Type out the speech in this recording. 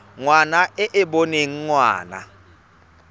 ngwana e e boneng ngwana